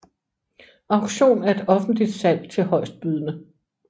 Auktion er et offentligt salg til højstbydende